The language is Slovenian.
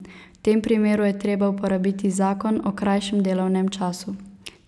V tem primeru je treba uporabiti zakon o krajšem delovnem času.